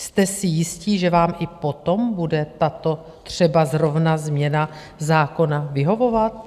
Jste si jistí, že vám i potom bude tato třeba zrovna změna zákona vyhovovat?